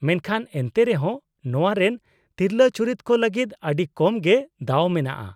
ᱢᱮᱱᱠᱷᱟᱱ ᱮᱱᱛᱮᱨᱮᱦᱚᱸ ᱱᱚᱶᱟ ᱨᱮᱱ ᱛᱤᱨᱞᱟᱹ ᱪᱩᱨᱤᱛ ᱠᱚ ᱞᱟᱹᱜᱤᱫ ᱟᱹᱰᱤ ᱠᱚᱢ ᱜᱮ ᱫᱟᱣ ᱢᱮᱱᱟᱜᱼᱟ ᱾